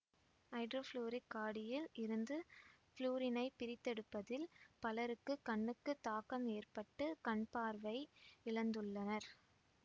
ஐதரோபுளூரிக் காடியில் இருந்து புளூரினைப் பிரித்தெடுப்பதில் பலருக்குக் கண்ணுக்கு தாக்கம் ஏற்பட்டு கண்பார்வை இழந்துள்ளனர்